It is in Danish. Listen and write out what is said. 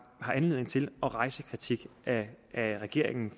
anledning til at rejse kritik af regeringen